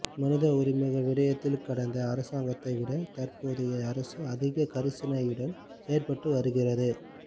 மனித உரிமைகள் விடயத்தில் கடந்த அரசாங்கத்தை விட தற்போதைய அரசு அதிக கரிசணையுடன் செயற்பட்டு வருகிறது